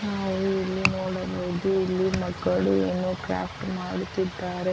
ನಾವು ಇಲ್ಲಿ ನೋಡಬಹುದು ಇಲ್ಲಿ ಮಕ್ಕಳು ಏನೋ ಕ್ರಾಫ್ಟ್ ಮಾಡುತ್ತಿದ್ದಾರೆ.